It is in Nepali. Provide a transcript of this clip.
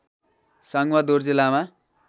साङवा दोर्जे लामा